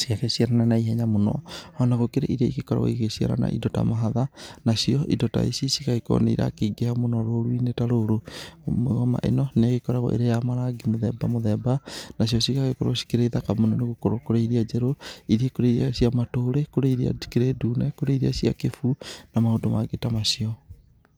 ci- na ihenya mũno, ona gũkĩrĩ iria igĩkoragwo igĩgĩciara na indo ta mahatha nacio indo ta ici cigagĩkorwo nĩ irakĩingĩha mũno roru-inĩ ta rũrũ. Mĩgoma ĩno nĩ ĩgĩkoragwo ĩrĩ ya marangi mĩthemba mĩthemba, nacio cigagĩkorwo cikĩrĩ thaka mũno nĩ gũkorwo kũrĩ iria njerũ, kũrĩ iria cia matũrĩ, kũrĩ iria cikĩrĩ ndune, kũrĩ iria cia kĩbuu na maũndũ mangĩ ta macio.